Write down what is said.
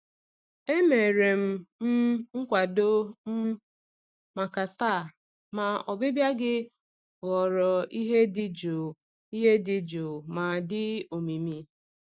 Emere m um nkwado um maka taa, ma ọbịbịa gị ghọrọ ihe dị jụụ ihe dị jụụ ma dị omimi.